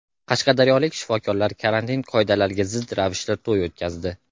Qashqadaryolik shifokorlar karantin qoidalariga zid ravishda to‘y o‘tkazdi.